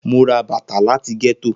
Mo ra bata lati getto.